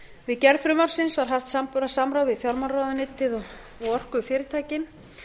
við gerð frumvarpsins var haft samráð við fjármálaráðuneytið og orkufyrirtækin